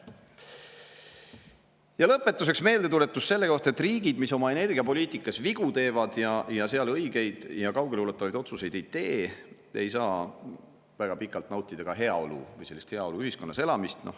Ja lõpetuseks meeldetuletus selle kohta, et riigid, kes oma energiapoliitikas vigu teevad ning selles vallas õigeid ja kaugeleulatuvaid otsuseid ei tee, ei saa väga pikalt nautida heaolu, sellist heaoluühiskonnas elamist.